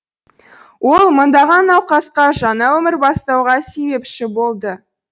ол мыңдаған науқасқа жаңа өмір бастауға себепші болды